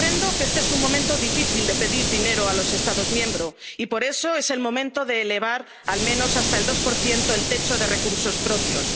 dos billones de euros. Comprendo que este es un momento difícil de pedir dinero a los Estados miembros y por eso es el momento de elevar al menos hasta el 2 el techo